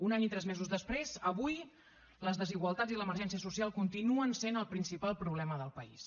un any i tres mesos després avui les desigualtats i l’emergència social continuen sent el principal problema del país